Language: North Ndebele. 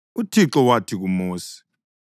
UThixo wathi kuMosi,